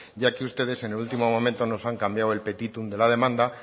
ya que ustedes en el último momento nos han cambiado el petitum de la demanda